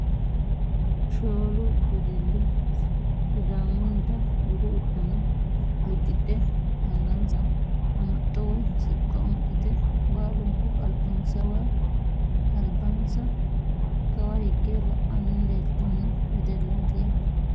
shoolu wedelli sidaamunnita budu uddano uddidhe angansarano amaxxo woyi siqqo amaxxite baalunku albansa kawa higge la'anni leeltanno wedellaati yaate .